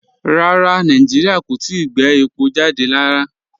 Rárá, Nàìjíríà kò tìí gbẹ̀ èpọ̀ jàdẹ̀ rárá.